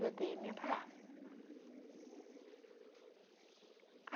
Eu dei a minha palavra.